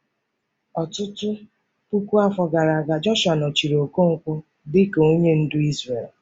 Ọtụtụ puku afọ gara aga, Jọshụa nọchiri Okonkwo dị ka onye ndu Izrel.